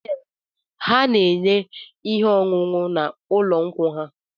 Na họteelụ ha na-ere ihe ọṅụṅụ na ụlọ nkwụ ha